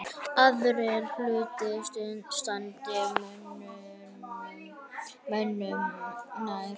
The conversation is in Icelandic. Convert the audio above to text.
Aðrir hlutir standi mönnum nær.